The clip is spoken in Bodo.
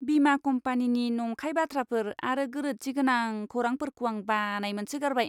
बीमा कम्पानिनि नंखाय बाथ्राफोर आरो गोरोनथिगोनां खौरांफोरखौ आं बानाय मोनसोगारबाय!